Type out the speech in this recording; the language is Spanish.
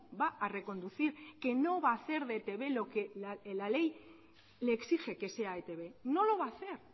va a reconducir que no va a hacer de etb lo que la ley le exige que sea etb no lo va a hacer